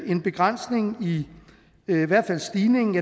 en begrænsning af i hvert fald stigningen